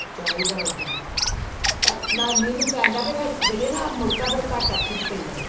ਚਾਹੀਦਾ ਓਦਾਂ ਪਰ ਨਾਲ ਮੀਂਹ ਮੂੰਹ ਪੈ ਜਾਵੇ ਫਿਰ ਜਿਹੜੀ ਨਾ ਮੁੜਕਾ ਫਿਰ ਘੱਟ ਅੱਖ ਚ ਪੈਂਦਾ ਵਾ।